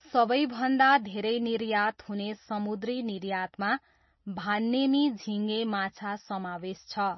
सबैभन्दा धेरै निर्यात हुने समुद्री निर्यातमा भान्नेमी झिङे माछा समावेश छ।